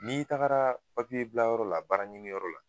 N'i tagara papiye bilayɔrɔ la baaraɲiniyɔrɔ la